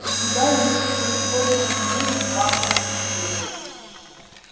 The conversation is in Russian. у тебя есть хоть сколько-нибудь магловских денег